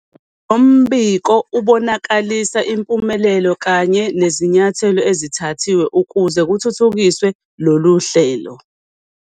Lo mbiko ubonakalisa impumelelo kanye nezinyathelo ezithathiwe ukuze kuthuthukiswe lolu hlelo.